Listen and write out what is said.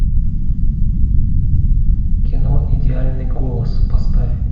кино идеальный голос поставь